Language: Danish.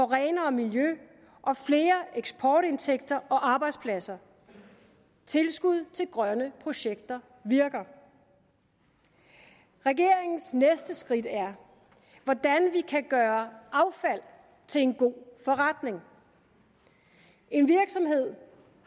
renere miljø og flere eksportindtægter og arbejdspladser tilskud til grønne projekter virker regeringens næste skridt er hvordan vi kan gøre affald til en god forretning en virksomhed